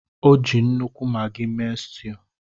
O ji nnukwu Maggi mee stew